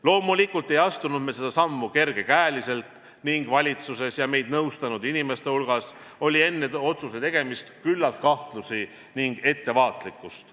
Loomulikult ei astunud me seda sammu kergekäeliselt ning valitsuses ja meid nõustanud inimeste hulgas oli enne otsuse tegemist küllalt kahtlusi ning ettevaatlikkust.